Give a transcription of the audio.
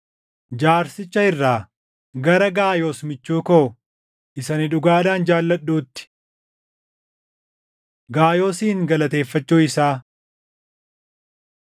Jaarsicha irraa, Gara Gaayoos michuu koo, isa ani dhugaadhaan jaalladhuutti. Gaayoosin Galateeffachuu Isaa